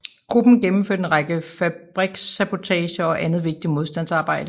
Gruppen gennemførte en række fabrikssabotager og andet vigtigt modstandsarbejde